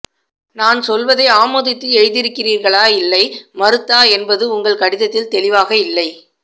நான் சொல்வதை ஆமோதித்து எழுதியிருக்கிறீர்களா இல்லை மறுத்தா என்பது உங்கள் கடிதத்தில் தெளிவாக இல்லை